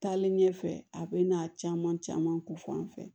Taalen ɲɛfɛ a bɛ na caman caman ko fɔ an fɛ